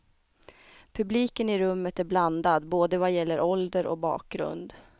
Publiken i rummet är blandad, både vad gäller ålder och bakgrund.